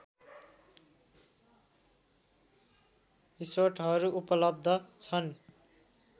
रिसोर्टहरू उपलब्ध छन्